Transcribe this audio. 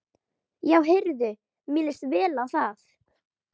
Já heyrðu, mér líst vel á það!